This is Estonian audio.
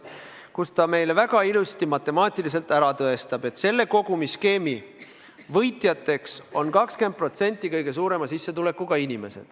Ta tõestab meile väga ilusti matemaatiliselt ära, et selle kogumisskeemi puhul on võitjateks 20% inimesi, kes on kõige suurema sissetulekuga.